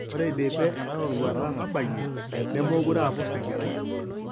Ore eidipe enaroruata nabayie, nemeekure aapus engerai.